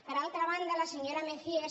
per altra banda la senyora mejías